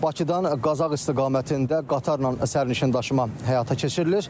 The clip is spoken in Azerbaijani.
Bakıdan Qazax istiqamətində qatarla sərnişin daşıma həyata keçirilir.